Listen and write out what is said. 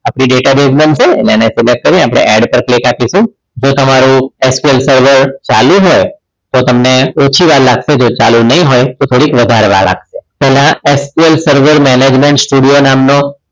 આપણી database બનશે એટલે એને select કરી add ઉપર click આપીશું જો તમારું ચાલુ હોય તો તમને ઓછી વાર લાગશે જો ચાલુ નહીં હોય તો થોડીક વધારે વાર લાગશે તેમાં sql server management studio નામનો